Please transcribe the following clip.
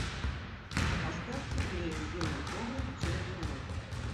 поставь теплее в винном погребе через минуту